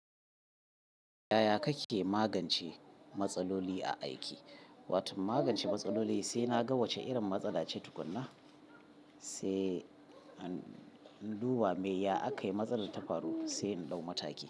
Yaya kake magance matsaloli a aiki? Watau magance matsaloli sai na ga wacce irin matsala ce tukuna, sai in duba me ya aka yi matsalar ta faru sai in ɗau mataki.